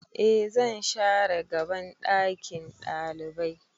E zan share gaban ɗakin ɗalibai